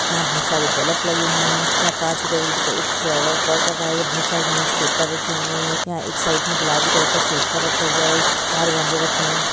यहाँ बहुत सारे बल्ब लगे हुए है यहाँ कांच के टेबुल के ऊपर एक फ्लावर पॉट रखा है बहुत सारे न्यूज पेपर रखे हुए है यहाँ एक साइड मे गुलाबी कलर का सोफ़ा रखा हुआ है बाहर गमले रखे है।